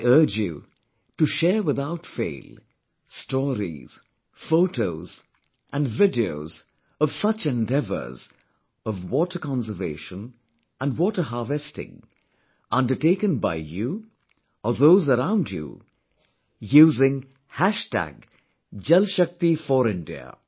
I urge you to share without fail, stories, photos & videos of such endeavours of water conservation and water harvesting undertaken by you or those around you using Jalshakti4India